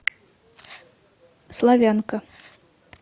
славянка